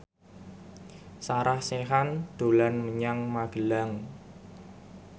Sarah Sechan dolan menyang Magelang